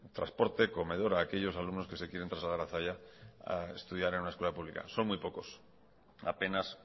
transporte comedor a aquellos alumnos que se quieran trasladar hasta allá a estudiar en una escuela pública son muy pocos apenas